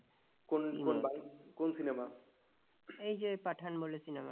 এই যে পাঠান বলে cinema টা